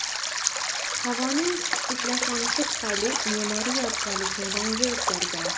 Havoning ifloslanishi tufayli me’moriy yodgorlikning rangi o‘zgargan.